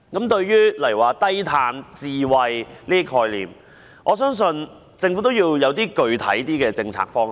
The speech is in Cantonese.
對於低碳、智慧這些概念，政府應確立較具體的政策方向。